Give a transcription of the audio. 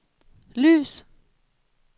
lys